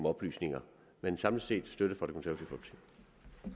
oplysninger men samlet set